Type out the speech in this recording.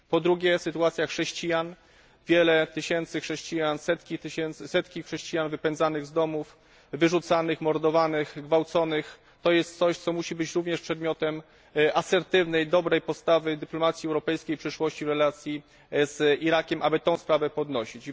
Po drugie, sytuacja chrześcijan wiele tysięcy chrześcijan, setki chrześcijan wypędzanych z domów, wyrzucanych, mordowanych, gwałconych to jest coś, co musi być również przedmiotem asertywnej, dobrej podstawy dyplomacji europejskiej w przyszłości w relacji z Irakiem, aby tę sprawę podnosić.